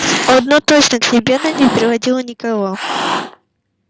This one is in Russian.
одно точно к себе она не приводила никого